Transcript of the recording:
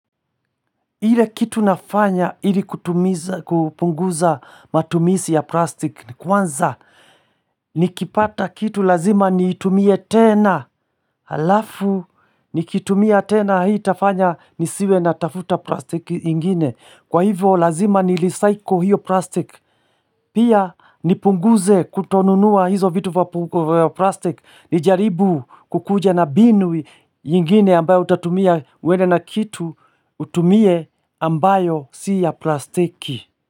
Ile kitu nafanya ili kutumiza kupunguza matumizi ya plastic ni kwanza Nikipata kitu lazima niitumie tena Halafu nikitumia tena hii itafanya nisiwe natafuta plastic ingine Kwa hivo lazima nirecycle hiyo plastic Pia nipunguze kutonunua hizo vitu vya plastic Nijaribu kukuja na mbinu ya ingine ambayo utatumia uende na kitu utumie ambayo si ya plastiki.